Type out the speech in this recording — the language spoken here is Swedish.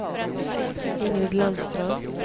Ingrid Landström